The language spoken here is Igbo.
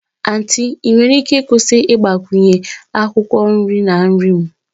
Aunty ị nwere ike ịkwụsị ịgbakwunye akwụkwọ nri na nri m?